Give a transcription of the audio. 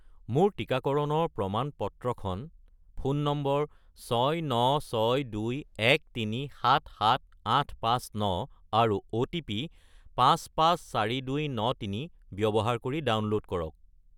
মোৰ টিকাকৰণৰ প্ৰমাণ-পত্ৰখন ফোন নম্বৰ 69621377859 আৰু অ'টিপি 554293 ব্যৱহাৰ কৰি ডাউনলোড কৰক।